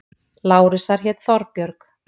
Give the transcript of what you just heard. Lárusar hét Þorbjörg.